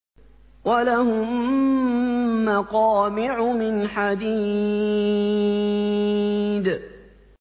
وَلَهُم مَّقَامِعُ مِنْ حَدِيدٍ